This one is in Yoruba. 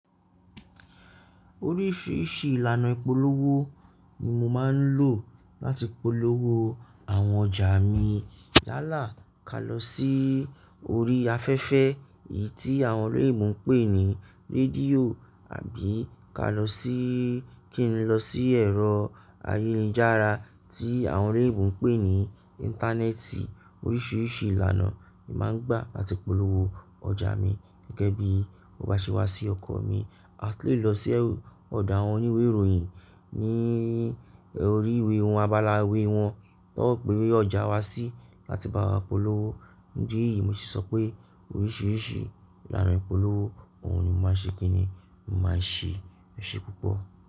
Oríṣiríṣi ìlànà ìpolówó ni mo máa ń lò láti polówó àwọn ọjà mi. Yàlá ka lọ sí orí afẹ́fẹ́ èyí tí àwọn ọ̀rẹ́ mi ń pè ní rédíò àbí ka lọ sí kí n lọ sí ẹ̀rọ ayélujára tí àwọn oloiynbo ń pè ní Íńtánẹ́ẹ̀tì. Oríṣiríṣi ìlànà ni màá ń gbà láti polówó ọjà mi gẹ́gẹ́ bí mo bá ṣe wá sí ọkan mi. A tun lè lọ sí ọ̀dọ̀ àwọn oníwèé ìròyìn ní orí ìwé won àbálá iwé wọn kí wọ́n tó gbé ọjà wa sí láti báa polówó. Idi ní yìí mo sì sọ pé oríṣiríṣi ìlànà ìpolówó òun ni mo máa ṣe kí ni mo máa ṣe. Ṣé púpọ̀?